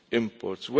these imports.